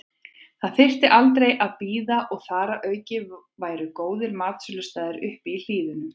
Það þyrfti aldrei að bíða og þar að auki væru góðir matsölustaðir uppi í hlíðunum.